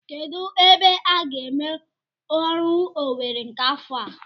Kedụ ebe a ga-eme oru Owerri nke afọ a?